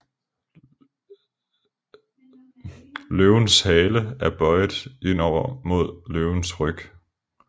Løvens Hale er bøiet indover mod Løvens Ryg